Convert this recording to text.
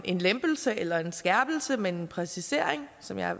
en lempelse eller en skærpelse men en præcisering som jeg